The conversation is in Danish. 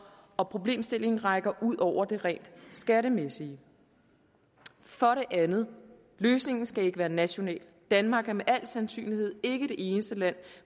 og problemstillingen rækker ud over det rent skattemæssige for det andet løsningen skal ikke være national danmark er med al sandsynlighed ikke det eneste land